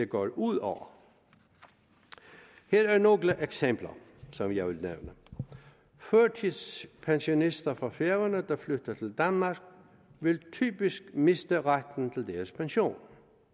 går ud over her er nogle eksempler som jeg vil nævne førtidspensionister fra færøerne der flytter til danmark vil typisk miste retten til deres pension